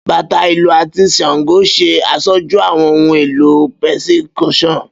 Bata, ilu, ati shango ṣe aṣoju awọn ohun elo percussion